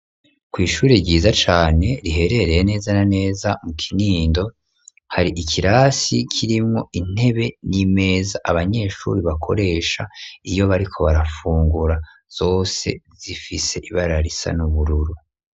Kw'ishure ryiza cane, riherereye neza na neza, mu Kinindo; hari ikirasi, kirimwo intebe n'imeza, abanyeshuri bakoresha, iyo bariko barafungura; zose zifise ibara, risa n'ubururu.